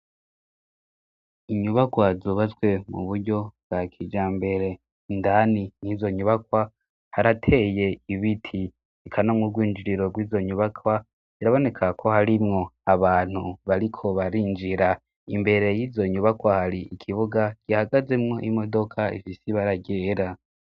Inyubakwa zubatswe mu buryo bwa kijambere indani yizo nyubakwa harateye ibiti eka no mu rwinjiriro rwizo nyubakwa irabonekag ko harimwo abantu bariko barinjira imbere yizo nyubakwa hari ikibuga gihagazemwo imodoka ifise ibara ryera.